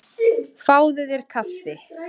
Fáðu þér kaffi.